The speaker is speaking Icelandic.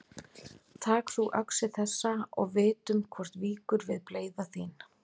Tak þú öxi þessa og vitum hvort víkur við bleyða þín.